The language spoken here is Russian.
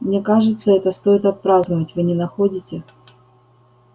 мне кажется это стоит отпраздновать вы не находите